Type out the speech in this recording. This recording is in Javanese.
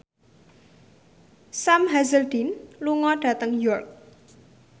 Sam Hazeldine lunga dhateng York